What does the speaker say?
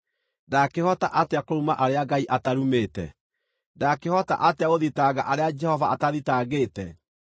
Ndaakĩhota atĩa kũruma arĩa Ngai atarumĩte? Ndaakĩhota atĩa gũthitanga arĩa Jehova atathitangĩte?